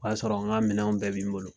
O y'a sɔrɔ n ka minɛnw bɛɛ bi n bolo